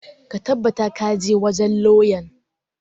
Ka tabbata ka je wajen lauyan!